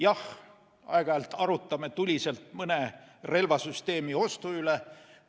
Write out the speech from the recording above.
Jah, aeg-ajalt arutame tuliselt mõne relvasüsteemi ostu üle.